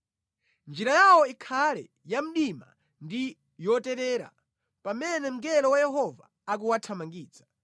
Njira yawo ikhale ya mdima ndi yoterera pamene mngelo wa Yehova akuwathamangitsa.